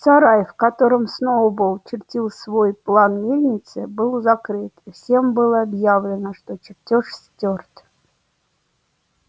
сарай в котором сноуболл чертил свой план мельницы был закрыт и всем было объявлено что чертёж стёрт